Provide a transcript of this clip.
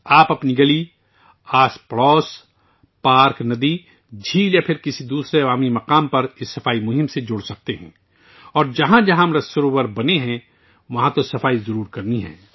آپ اپنی گلی، محلے، پارک، ندی، جھیل یا کسی اور عوامی مقام پر اس صفائی مہم میں شامل ہوسکتے ہیں اور جہاں بھی امرت سروور بنایا گیا ہے، وہاں صفائی ضرور کی جائے